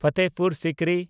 Fatehpur Sikri